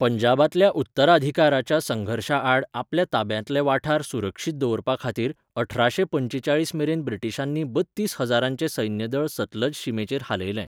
पंजाबांतल्या उत्तराधिकाराच्या संघर्शांआड आपल्या ताब्यांतले वाठार सुरक्षीत दवरपाखातीर अठराशें पंचेचाळीस मेरेन ब्रिटिशांनी बत्तीस हजारांचें सैन्यदळ सतलज शिमेचेर हालयलें.